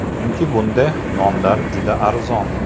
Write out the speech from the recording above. Chunki bunday nonlar juda arzon.